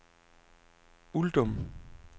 Uldum